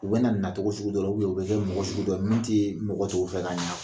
U bɛ na nacogo sugu dɔ la u bɛ kɛ mɔgɔ sugu dɔ ye min tɛ mɔgɔ tɔw fɛ ka ɲɛ